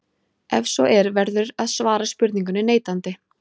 Ef svo er verður að svara spurningunni neitandi.